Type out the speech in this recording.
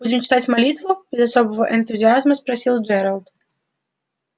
будем читать молитву без особого энтузиазма спросил джералд